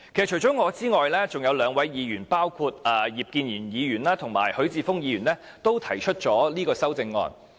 除了我之外，還有兩位議員，包括葉建源議員及許智峯議員均提出了修正案。